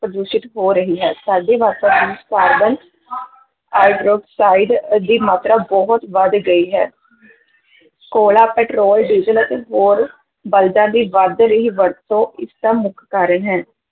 ਪ੍ਰਦੂਸ਼ਿਤ ਹੋ ਰਹੀ ਹੈ ਸਾਡੇ ਵਾਤਾਵਰਨ ਵਿੱਚ ਕਾਰਬਨ ਹਾਈਡ੍ਰਾਕਸਾਈਡ ਅਹ ਦੀ ਮਾਤਰਾ ਬਹੁਤ ਵਧ ਗਈ ਹੈ ਕੋਲਾ, ਪਟਰੋਲ ਡੀਜ਼ਲ ਅਤੇ ਹੋਰ ਬਾਲਦਾਂ ਦੀ ਵਧ ਰਹੀ ਵਰਤੋਂ ਇਸ ਦਾ ਮੁੱਖ ਕਾਰਨ ਹੈ।